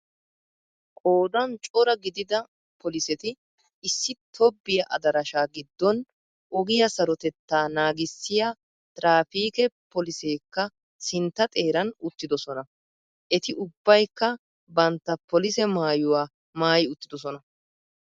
Qoodan cora gidida poliseti issi tobbiya adarashaa gidon ogiyaa sarotettaa naagisiyaa trafikke poliseekka sintta xeeran uttidosona. Eti ubbaykka bantta polise maayuwa maayi uttidosonna.